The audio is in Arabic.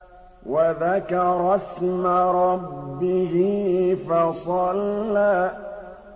وَذَكَرَ اسْمَ رَبِّهِ فَصَلَّىٰ